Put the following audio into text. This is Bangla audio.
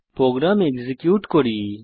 প্রোগ্রাম এক্সিকিউট করি